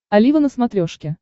олива на смотрешке